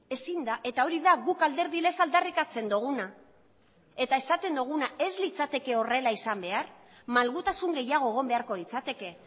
ezin da eta hori da guk alderdi lez aldarrikatzen duguna eta esaten duguna ez litzateke horrela izan behar malgutasun gehiago egon beharko litzateke